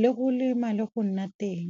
le go lema le go nna teng.